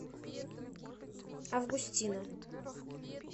августина